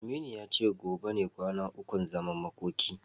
Aminu ya ce gobe ne kwana ukun zaman makoki.